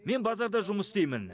мен базарда жұмыс істеймін